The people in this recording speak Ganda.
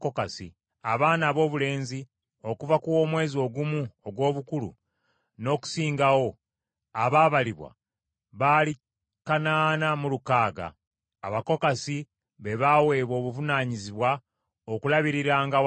Abaana aboobulenzi okuva ku w’omwezi ogumu ogw’obukulu n’okusingawo abaabalibwa baali kanaana mu lukaaga (8,600). Abakokasi be baweebwa obuvunaanyizibwa okulabiriranga awatukuvu.